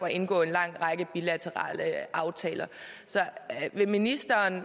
indgå en lang række bilaterale aftaler så vil ministeren